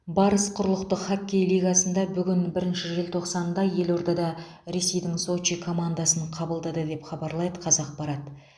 барыс құрлықтық хоккей лигасында бүгін бірінші желтоқсанда елордада ресейдің сочи командасын қабылдады деп хабарлайды қазақпарат